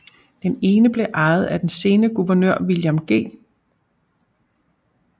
Den ene blev ejet af den senere guvernør William G